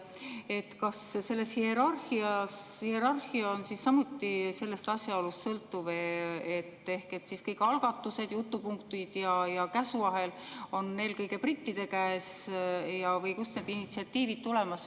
Seoses sellega ma küsin, kas see hierarhia on samuti sellest asjaolust sõltuv ehk kõik algatused, jutupunktid ja käsuahel on eelkõige brittide käes või kust need initsiatiivid tulevad.